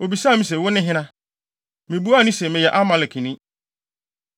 “Obisaa me se, ‘Wo ne hena?’ “Mibuaa no se, ‘Meyɛ Amalekni.’